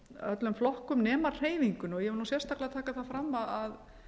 öllum flokkum nema hreyfingunni og ég vil sérstaklega taka það fram að